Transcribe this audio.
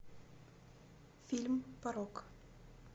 фильм порок